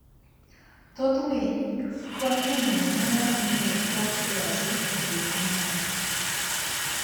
Thoth winy konyo e miyo muya manie kor lwasi obed monyak.